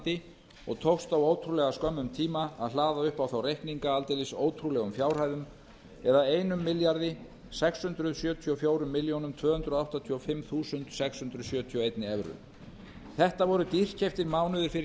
hollandi og tókst á ótrúlega skömmum tíma að hlaða upp á þá reikninga aldeilis ótrúlegum fjárhæðum eða einum milljarði sex hundruð sjötíu og fjórar milljónir tvö hundruð áttatíu og fimm þúsund og sex hundruð sjötíu og einni evru þetta voru dýrkeyptir mánuðir fyrir